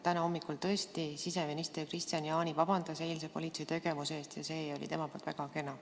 Täna hommikul tõesti siseminister Kristian Jaani palus vabandust eilse politsei tegevuse pärast, see oli temast väga kena.